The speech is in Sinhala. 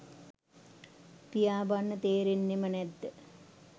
පියාඹන්න තේරෙන්නෙම නැද්ද?